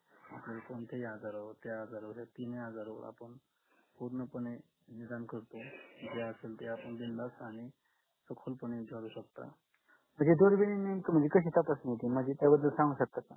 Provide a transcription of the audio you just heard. जर कोणत्याही आजारावर त्या तिन्ही आजारावर आपण पूर्णपणे करतो जे असेल ते असेल बिंदास आणि शकता